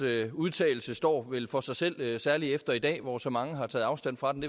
udtalelse står vel for sig selv særlig efter i dag hvor så mange har taget afstand fra den